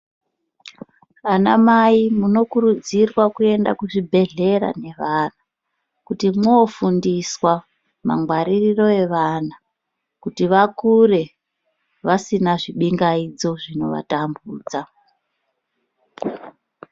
Anamai munokurudzirwa kuenda kuzvibhedhlera nevana kuti moofundiswa mangwaririro evana, kuti vakure vasina zvibingaidzo zvinovatambudza.